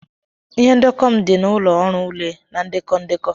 Ihe ndekọ m dị n'ụlọ ọrụ ule na ndekọ ndekọ.